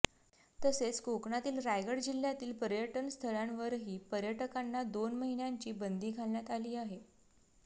तसेच कोकणातील रायगड जिल्ह्यातील पर्यटन स्थळांवरही पर्यटकांना दोन महिन्यांची बंदी घालण्यात आली आहे